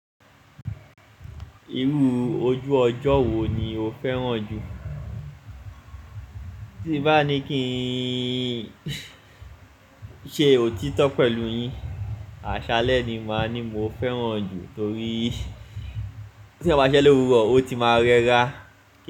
Irú ojú ọjọ́ wo ni o fẹ́ràn jù? Tí bá ní kí n ṣe òtítọ́ pẹ̀lú yín, àṣálẹ́ ni màá ní mo fẹ́ràn jù torí tí ẹ bá ṣe lórúko, ó ti máa rẹra.